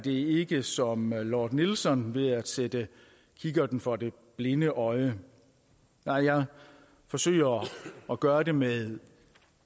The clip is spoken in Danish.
ikke som lord nelson ved at sætte kikkerten for det blinde øje nej jeg forsøger at gøre det med en